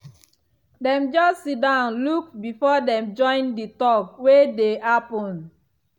dem just siddon look before dem join the talk wey dey happen.